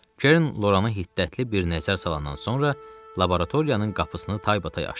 Kern Loranı hiddətli bir nəzər salandan sonra laboratoriyanın qapısını taybatay açdı.